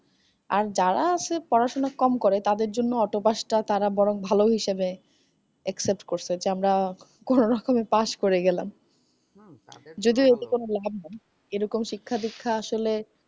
আর যারা শুধু পড়াশুনা কম করে তাদের জন্যে autopass টা তারা বরং ভালই হিসেবে accept করসে। যে আমরা কোনো রকমে পাস করে গেলাম। হম তাদের জন্যে যদিও এতে কোনো লাভ নাই এরকম শিক্ষাদীক্ষা আসলে।